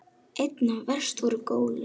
Einna verst voru gólin.